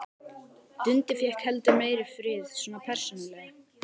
Dundi fékk heldur meiri frið, svona persónulega.